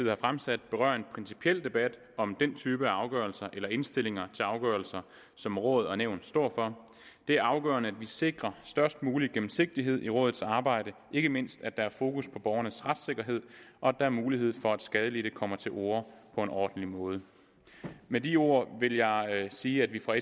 har fremsat berører en principiel debat om den type af afgørelser eller indstillinger til afgørelse som råd og nævn står for det er afgørende at vi sikrer størst mulig gennemsigtighed i rådets arbejde ikke mindst at der er fokus på borgernes retssikkerhed og at der er mulighed for at skadelidte kommer til orde på en ordentlig måde med de ord vil jeg sige at vi fra